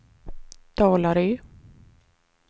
Dalarö